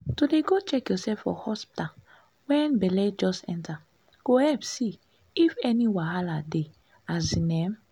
to dey go check yoursef for hospta wen belle just enta go epp see if any wahala dey asin emm